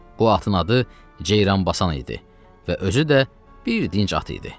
O atın adı Ceyranbasan idi və özü də bir dinc at idi.